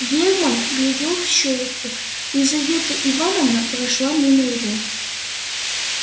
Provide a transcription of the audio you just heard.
герман глядел в щёлку лизавета ивановна прошла мимо его